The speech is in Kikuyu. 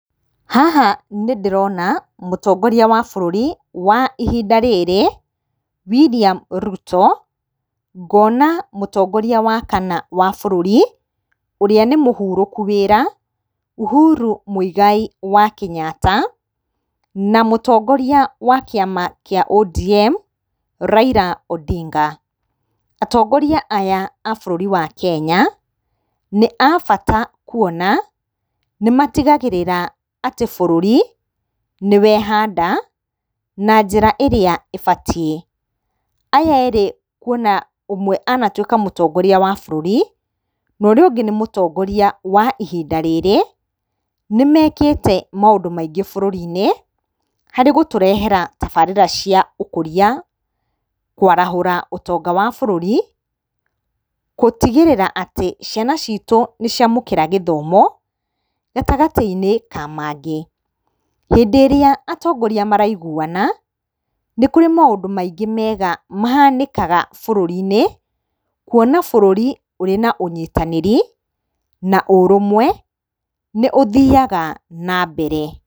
Haha nĩndĩrona mũtongoria wa bũrũri wa ihinda rĩrĩ William Ruto. Ngona mũtongoria wa kana wa bũrũri ũrĩa nĩ mũhurũku wĩra Uhuru Mũigai wa Kenyatta na mũtongoria wa kĩama kĩa ODM Raila Odinga. Atongoria aya a bũrũri wa Kenya nĩ a bata kuona nĩmatigagĩrĩra atĩ bũrũri nĩwehanda na njĩra ĩrĩa ĩbatiĩ. Aya erĩ kuona ũmwe anatuĩka mũtongoria wa bũrũri na ũrĩa ũngĩ nĩ mũtongoria wa ihinda rĩrĩ nĩmekĩte maũndũ maingĩ bũrũri-inĩ harĩ gũtũrehera tabarĩra cia ũkũria, kwarahũra ũtonga wa bũrũri, gũtigĩrĩra ciana citũ nĩciamũkĩra gĩthomo gatagatĩ-inĩ ka mangĩ. Hĩndĩ ĩrĩa atongoria maraiguana nĩkũrĩ maũndũ maingĩ mega mahanĩkaga bũrũri-inĩ kuona bũrũri ũrĩ na ũnyitanĩri na ũrũmwe nĩ ũthiyaga na mbere.